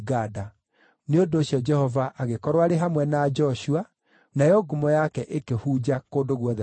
Nĩ ũndũ ũcio Jehova agĩkorwo arĩ hamwe na Joshua, nayo ngumo yake ĩkĩhunja kũndũ guothe bũrũri ũcio.